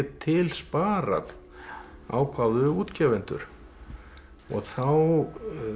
til sparað ákváðu útgefendur og þá